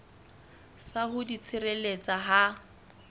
sa ho di tshireletsa ha